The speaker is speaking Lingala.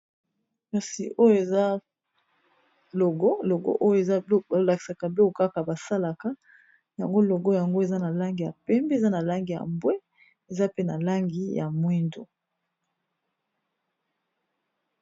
Awa ezali logo ya kelasi ba bengi na lopoto ENSP elakisi, Ecole Nationale Superieure Polytechnique. Ezali bongo na mboka ya Congo Brazaville.